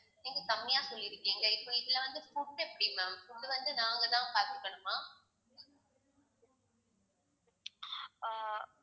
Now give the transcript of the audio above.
நீங்க கம்மியா சொல்லிருக்கீங்க இப்போ இதுல வந்து food எப்படி ma'am food வந்து நாங்க தான் பார்த்துக்கணுமா ஆஹ்